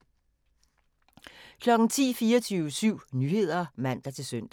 10:00: 24syv Nyheder (man-søn)